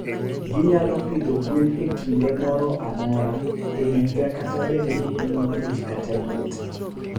Ginyalo pidho gwen e kinde moro amora e higa kata bed ni piny ng'ich kata liet.